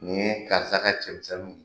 Nk ye karisa ka cɛ misɛnninw ye.